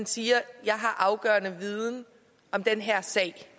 siger jeg har afgørende viden om den her sag det